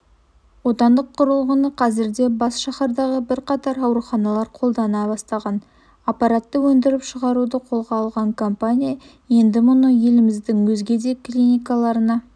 отандық құрылғыны қазірде бас шаһардағы бірқатар ауруханалар қолдана бастаған аппаратты өндіріп шығаруды қолға алған компания енді мұны еліміздің өзге де клиникаларына